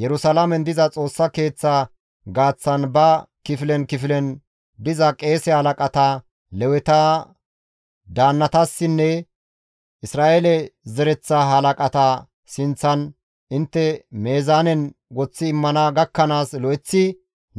Yerusalaamen diza Xoossa Keeththa gaaththan ba kifilen kifilen diza qeese halaqata, Leweta daannatassinne Isra7eele zereththa halaqata sinththan intte meezaanen woththi immana gakkanaas lo7eththi